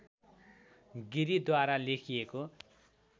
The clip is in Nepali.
गिरिद्वारा लेखिएको